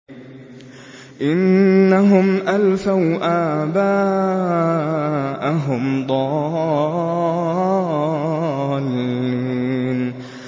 إِنَّهُمْ أَلْفَوْا آبَاءَهُمْ ضَالِّينَ